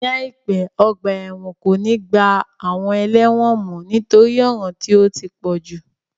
Ní àìpé, ọgbà ẹ̀wọ̀n kò ní gba àwọn ẹlẹ́wọ̀n mọ nítorí ọ̀ràn tí ó ti pọ̀jù